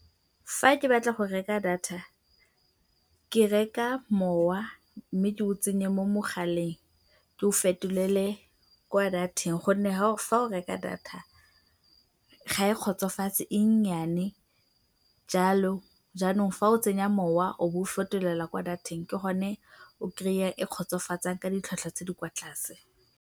Fa ke batla go reka data, ke reka mowa mme ke o tsenye mo mogaleng, ke o fetolele kwa dateng gonne fa o reka data ga e kgotsofatse, e nnyane jalo jaanong fa o tsenya mowa o bo o o fetolela kwa dateng ke gone o kry-ang e e kgotsofatsang ka ditlhwatlhwa tse di kwa tlase.